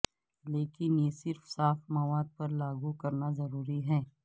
لیکن یہ صرف صاف مواد پر لاگو کرنا ضروری ہے